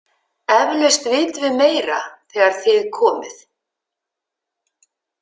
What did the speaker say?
Eflaust vitum við meira þegar þið komið.